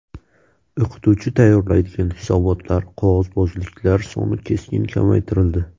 O‘qituvchi tayyorlaydigan hisobotlar, qog‘ozbozliklar soni keskin kamaytirildi.